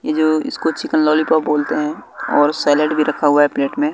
ये जो इसको चिकन लॉलीपॉप बोलते हैं और सेलिड भी रखा हुआ है प्लेट में।